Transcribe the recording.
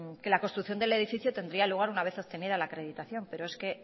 que la construcción del edificio tendría lugar una vez obtenida la acreditación pero es que